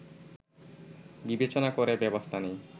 বিবেচনা করে ব্যবস্থা নেয়